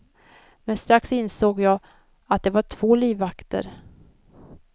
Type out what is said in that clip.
Men strax insåg jag att det var två livvakter.